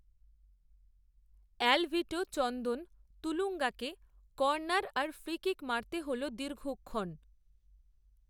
Alvito Chandan তুলুঙ্গাকে corner আর free kick মারতে হল দীর্ঘক্ষণ